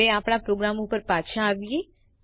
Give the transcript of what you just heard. હવે આપણા પ્રોગ્રામ ઉપર પાછા આવીએ